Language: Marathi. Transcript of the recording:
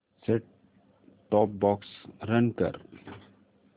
सेट टॉप बॉक्स रन कर